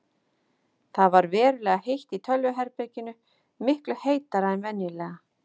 Það ver verulega heitt í tölvuherberginu, miklu heitara en venjulega.